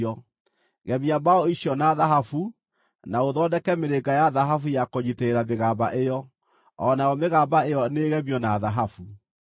Gemia mbaũ icio na thahabu, na ũthondeke mĩrĩnga ya thahabu ya kũnyiitĩrĩra mĩgamba ĩyo. O nayo mĩgamba ĩyo nĩĩgemio na thahabu.